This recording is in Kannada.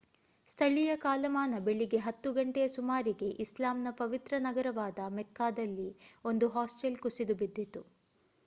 ಸ್ಥಳೀಯ ಕಾಲಮಾನ ಬೆಳಿಗ್ಗೆ 10 ಗಂಟೆಯ ಸುಮಾರಿಗೆ ಇಸ್ಲಾಮ್‌ನ ಪವಿತ್ರ ನಗರವಾದ ಮೆಕ್ಕಾದಲ್ಲಿ ಒಂದು ಹಾಸ್ಟೆಲ್ ಕುಸಿದು ಬಿದ್ದಿತು